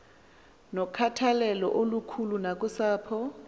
nokhathalelo olukhulu nakusapho